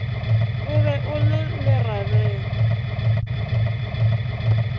o be o le lerabele